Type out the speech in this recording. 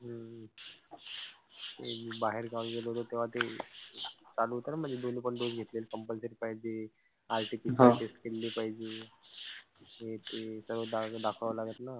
मी बाहेर गावी गेलो तेंव्हा ते चालू होतं ना मध्ये दोन्हीं पण dose घेतलेले compulsory पाहिजे. test केलेली पाहिजे. हे ते सर्व दाखवावं लागत ना.